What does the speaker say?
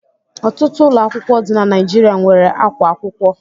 Ọtụtụ ụlọ akwụkwọ dị na Naijiria nwere ákwá akwụkwọ.